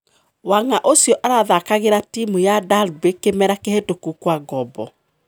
Wing'a ũcio arathakagira timu ya Derby kimera kihitũku kwa ngombo.